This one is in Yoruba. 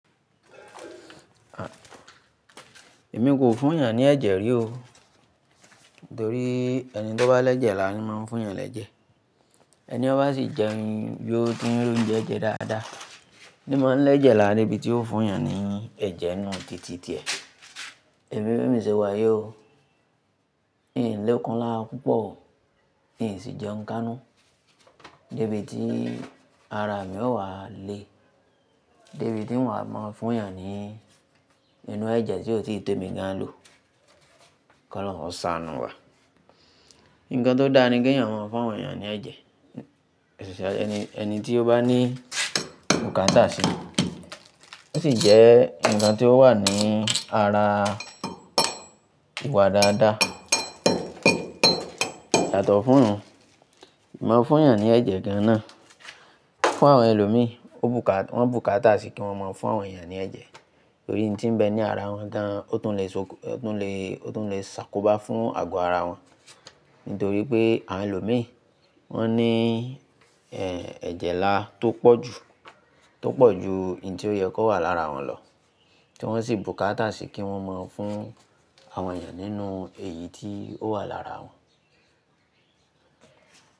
Èmi kò fún yàn ní ẹ̀jẹ̀ rí o. Nítorí ẹni tó bá lẹ́jẹ̀ lọ máa ń fún yàn lẹ́jẹ̀. Ẹni tó bá ṣì jẹun yóò tin rí oúnjẹ jẹ dáadáa. Ni mọ́ ń lẹ́jẹ̀ làrá níbi tí ó fún yàn ní ẹ̀jẹ̀ ninú tìtì tiẹ̀. Èmi bèmi sẹ́wà yìí o. N ò lè kan lára púpọ̀, n sì jẹun káánú. Ni bí ti ara mi ó wà le. Ni bí ti n wa máa fún yàn ní inú ẹ̀jẹ̀ tí ò tíì tèmi gan ló. Kọ́ lọ́hun ó saanu wà. Ǹkan tó dára ni kí yàn máa fún àwọn èèyàn ní ẹ̀jẹ̀, èṣìṣọ ẹni tí ó bá ní bùkátà si. Ó sì jẹ́ ǹkan tí ó wà ní ara ìwà dáadáa. Yàtọ̀ fún un. Máa fún yàn ní ẹ̀jẹ̀ gan ná. Fún àwọn ẹlòmíì, wọ́n bùkátà sí kí wọ́n má fún àwọn èèyàn ní ẹ̀jẹ̀. Nítorí I tí n bẹ ní ara wọn dan, ó tún lè ṣokò, ó tún lè, ó tún lè ṣàkóbá fún àgọ́ ara wọn. Nítorí pé àwọn ẹlòmíì, wọ́n ní, ẹ, ẹ̀jẹ̀ là á tó pọ̀ jù, tó pọ̀ ju ìdí tí ó yẹ kó wà lára wọn lọ. Tí wọ́n sì bùkátà sí kí wọ́n mọ̀ fún àwọn èèyàn nínú èyí tí ó wà lára wọn.